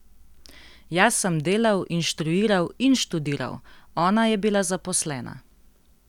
Jaz sem delal, inštruiral in študiral, ona je bila zaposlena.